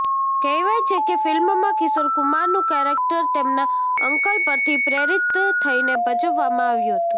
કહેવાય છે કે ફિલ્મમાં કિશોર કુમારનું કેરેક્ટર તેમના અંકલ પરથી પ્રેરિત થઇને ભજવવામાં આવ્યું હતું